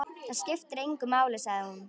Það skiptir engu máli, sagði hún.